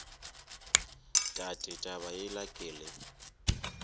tate taba yela ke le